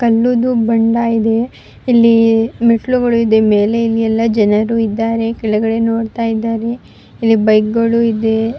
ಕಲ್ಲುದು ಬಂಡ ಇದೆ ಇಲ್ಲೀ ಮೆಟ್ಟಿಲುಗಳು ಇದೆ ಮೇಲೆ ಎಲ್ಲ ಜನರು ಇದ್ದಾರೆ ಕೆಳಗಡೆ ನೋಡ್ತಾ ಇದ್ದಾರೆ ಇಲ್ಲಿ ಬೈಕ್ಗುಳು ಇದೆ --